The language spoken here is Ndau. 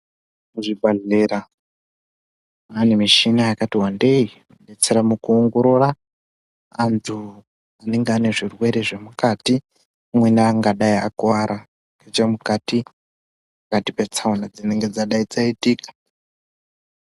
Muzvibhedhlera pane michina yakati vandei inobetsere mukuongorora antu anenge ane zvirwere zvemukati umweni angadai akuwara nechemukati pakati petsaona dzinenge dzadai dzaitika .